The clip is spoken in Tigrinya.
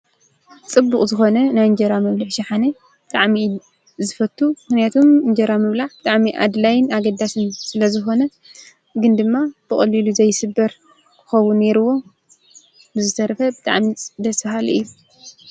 ጽቡቕ ዝኾነ ናይ እንጀራ መብልዕ ሽሓነ ደዕሚ ዝፈቱ ሕንያቱም እንጀራ መብላዕ ደዕሚ ኣድላይን ኣገዳስን ስለ ዝኾነ ግን ድማ ብቐልሉ ዘይስበር ክኸቡ ነይርዎ ብዘተርፈ ብጥዕሚ ደሰሃል እዩ